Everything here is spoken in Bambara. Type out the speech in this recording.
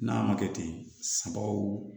N'a ma kɛ ten sagaw